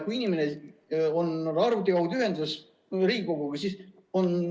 Ma ütlen ausalt, et seda helinat ei ole kuulda, kui inimene on arvuti kaudu Riigikoguga ühenduses.